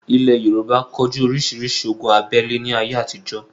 Ilẹ̀ Yorùbá ko jú orísirísi ogun abẹ́le ní ayé àtijọ́